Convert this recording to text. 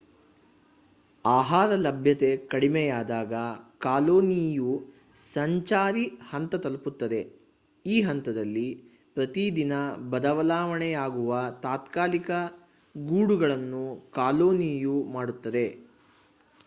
ಆಹಾರ ಲಭ್ಯತೆ ಕಡಿಮೆಯಾದಾಗ ಕಾಲೊನಿಯು ಸಂಚಾರಿ ಹಂತ ತಲುಪುತ್ತದೆ ಈ ಹಂತದಲ್ಲಿ ಪ್ರತಿ ದಿನ ಬದಲಾವಣೆಯಾಗುವ ತಾತ್ಕಾಲಿಕ ಗೂಡುಗಳನ್ನು ಕಾಲೊನಿಯು ಮಾಡುತ್ತದೆ